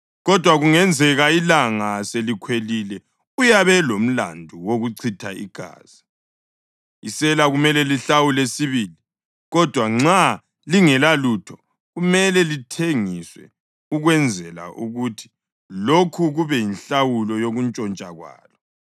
kodwa kungenzeka ilanga selikhwelile uyabe elomlandu wokuchitha igazi. Isela kumele lihlawule sibili, kodwa nxa lingelalutho, kumele lithengiswe ukwenzela ukuthi lokhu kube yinhlawulo yokuntshontsha kwalo.